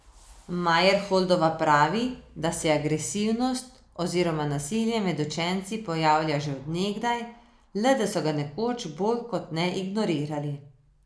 Majerholdova pravi, da se agresivnost oziroma nasilje med učenci pojavlja že od nekdaj, le da so ga nekoč bolj kot ne ignorirali.